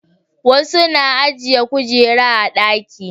wasu na ajiye kujera a ɗaki